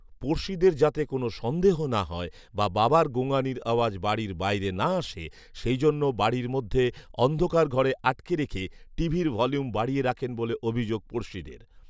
পড়শিদের যাতে কোন সন্দেহ না হয় বা বাবার গোঁঙানির আওয়াজ বাড়ির বাইরে না আসে সেই জন্য বাড়ির মধ্যে অন্ধকার ঘরে আটকে রেখে টিভির ভলিউম বাড়িয়ে রাখেন বলে অভিযোগ পড়শিদের